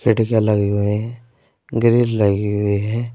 खिड़कियां लगे हुए हैं। ग्रिल लगी हुई हैं।